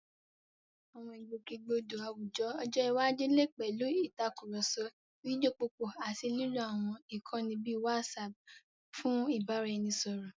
Àwọn ìgbòkègbodò àwùjọ ọjọ́ iwájú lè pẹ̀lú ìtàkùrọ̀sọ fídíò púpọ̀ àti lílo àwọn ìkànnì bíi WhatsApp fún ìbáraẹnisọ̀rọ̀.